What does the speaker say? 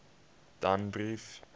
danbrief